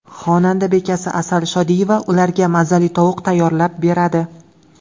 Xonadon bekasi Asal Shodiyeva ularga mazali tovuq tayyorlab beradi.